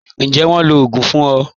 Ǹjẹ́ wọ́n ló odung fún ọ?